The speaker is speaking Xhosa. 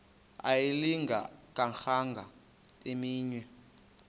ayilinga gaahanga imenywe